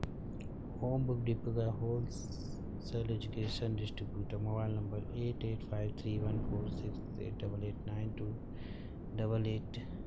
ओम book depot का wholesale education distributor. Mobile number eight eight five three one four six eight double eight nine two double eight.